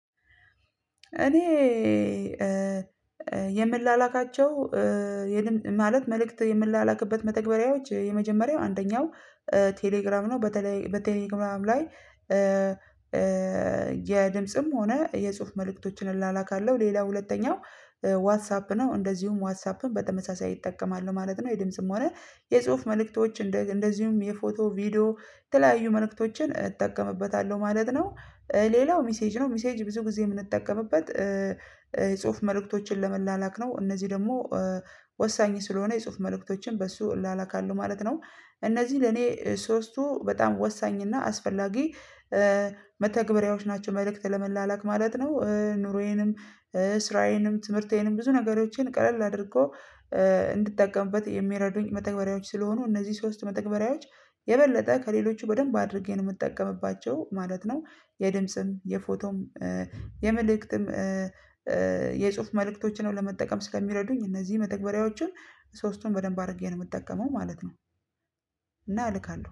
እኔ የምላላካቸው ማለት መልእክት የምላላክበት መተግበሪያዎች የመጀመሪያው አንደኛው ቴሌግራም ነው በተለይ በቴሌግራም ላይ። የድምጽም ሆነ የጽሁፍ መልእክቶችን እላላካለሁ ሌላው ሁለተኛው ዋትሳፕ ነው እንደዚሁም ዋትሳፕን በተመሳሳይ እጠቀማለሁ ማለት ነው የድምጽም ሆነ የጽሁፍ መልእክቶች እንደ እንደዚሁም የፎቶ ቪዲዮ የተለያዩ መልእክቶችን እጠቀምበታለሁ ማለት ነው። ሌላው ሚሴጅ ነው ሚሴጅ ብዙ ጊዜ የምንጠቀምበት የጽሁፍ መልእክቶችን ለመላላክ ነው። እነዚህ ደግሞ ወሳኝ ስለሆነ የጽሁፍ መልእክቶችን በሱ እላላካለሁ ማለት ነው። እነዚህ ለኔ ሶስቱ በጣም ወሳኝ እና አስፈላጊ መተግበሪያዎች ናቸው። መልእክት ለመላላክ ማለት ነው። ኑሮዬንም ስራዬንም ትምህርቴንም ብዙ ነገሮቼን ቀለል አድርጎ እንድትጠቀምበት የሚረዱኝ መተግበሪያዎች ስለሆኑ እነዚህ ሶስት መተግበሪያዎች የበለጠ ከሌሎቹ በደንብ አድርጌ ነው የምጠቀምባቸው ማለት ነው። የድምጽም የፎቶም የመልእክትም የጽሁፍ መልእክቶችን ነው ለመጠቀም ስለሚረዱኝ እነዚህ መተግበሪያዎችን ሶስቱን በደንብ አድርጌ ነው የምጠቀመው ማለት ነው። እና እልካለሁ